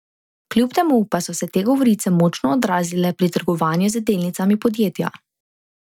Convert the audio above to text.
Kljub temu pa so se te govorice močno odrazile pri trgovanju z delnicami podjetja.